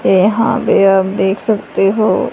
ये हां भी आप देख सकते हो।